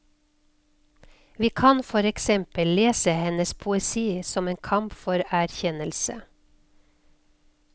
Vi kan for eksempel lese hennes poesi som en kamp for erkjennelse.